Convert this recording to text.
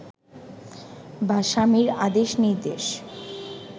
বা স্বামীর আদেশ নির্দেশ